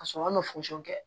Ka sɔrɔ an ma kɛ